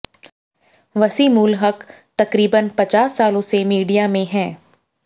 वसीमुल हक़ तकरीबन पचास सालों से मीडिया में हैं